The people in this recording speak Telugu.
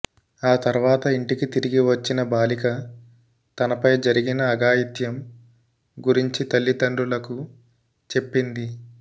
ఆ తర్వాత ఇంటికి తిరిగి వచ్చిన బాలిక తనపై జరిగిన అఘాయిత్యం గురించి తల్లిదండ్రులకు చెప్పింది